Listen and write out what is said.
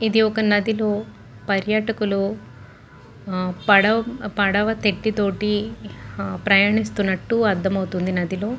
ఇది ఒక నదిలో పర్యాటకులు పడవ తెట్టు తోటి ప్రయాణిస్తున్నట్టు ఉంది పడవ లో.